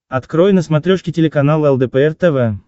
открой на смотрешке телеканал лдпр тв